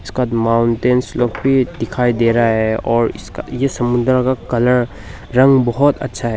कद माउंटेंस लोग भी दिखाई दे रहा है और इसका ये समुद्र का कलर रंग बहोत अच्छा है।